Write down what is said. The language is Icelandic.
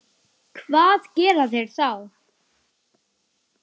Hvað gera þeir þá?